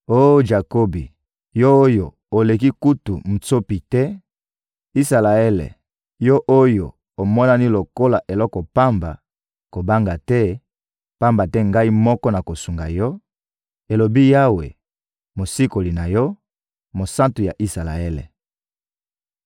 Oh Jakobi, yo oyo oleki kutu mutsopi te, Isalaele, yo oyo omonani lokola eloko pamba, kobanga te, pamba te Ngai moko nakosunga yo,» elobi Yawe, Mosikoli na yo, Mosantu ya Isalaele.